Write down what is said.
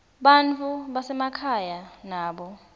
bantfu basemakhaya nabo